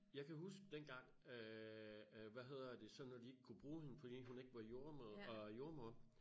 Jeg kan huske dengang øh øh hvad hedder det så når de ikke kunne bruge hende fordi hun ikke var jordemoder øh jordemoder